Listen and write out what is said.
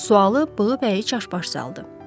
Sualı Bığıbəyi çaşbaş saldı.